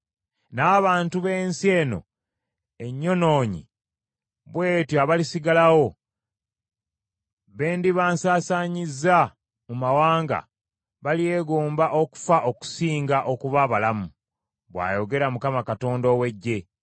N’abantu b’ensi eno ennyonoonyi bw’etyo abalisigalawo, be ndiba nsasaanyizza mu mawanga, balyegomba okufa okusinga okuba abalamu,” bw’ayogera Mukama Katonda ow’Eggye.